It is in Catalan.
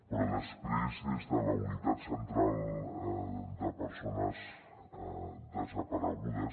però després des de la unitat central de persones desaparegudes